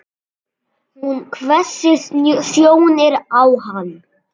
Hún hvessir sjónir á hann.